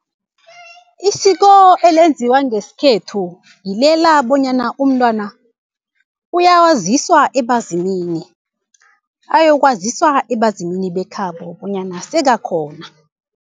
Isiko elenziwa ngesikhethu ngilela bonyana umntwana uyawaziswa ebezimini, ayokwaziswa ebezimini bekhabo bonyana sekakhona.